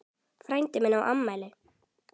Frændi minn á afmæli.